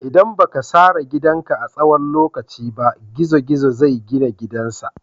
ldan ba ka sare gidan ka a tsawon lokaci ba, gizo-gizo zai gina gidan sa.